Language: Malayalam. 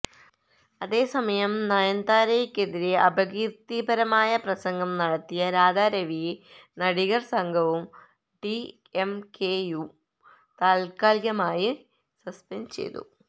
അതേസമയം നയന്താരയ്ക്കെതിരെ അപകീര്ത്തിപരമായ പ്രസംഗം നടത്തിയ രാധാ രവിയെ നടികര് സംഘവും ഡിഎംകെയും താത്കാലികമായി സസ്പെന്ഡ് ചെയ്തു